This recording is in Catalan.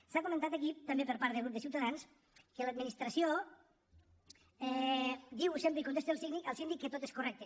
s’ha comentat aquí també per part del grup de ciutadans que l’administració diu sempre i contesta al síndic que tot és correcte